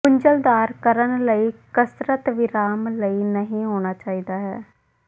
ਗੁੰਝਲਦਾਰ ਕਰਨ ਲਈ ਕਸਰਤ ਵਿਰਾਮ ਲਈ ਨਹੀ ਹੋਣਾ ਚਾਹੀਦਾ ਹੈ